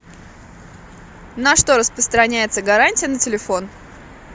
на что распространяется гарантия на телефон